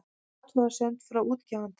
Athugasemd frá útgefanda